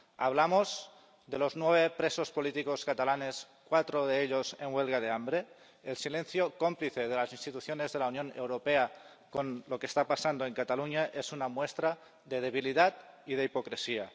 ¿Hablamos de los nueve presos políticos catalanes, cuatro de ellos en huelga de hambre? El silencio cómplice de las instituciones de la Unión Europea con lo que está pasando en Cataluña es una muestra de debilidad y de hipocresía.